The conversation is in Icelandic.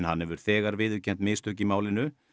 hann hefur þegar viðurkennt mistök í málinu